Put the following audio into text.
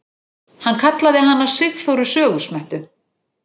Hann kallaði hana Sigþóru sögusmettu.